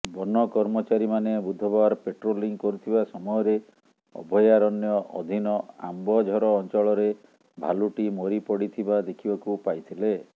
ବନକର୍ମଚାରୀମାନେ ବୁଧବାର ପାଟ୍ରୋଲିଂ କରୁଥିବା ସମୟରେ ଅଭୟାରଣ୍ୟ ଅଧୀନ ଆମ୍ବଝର ଅଞ୍ଚଳରେ ଭାଲୁଟି ମରି ପଡ଼ିଥିବା ଦେଖିବାକୁ ପାଇଥିଲେ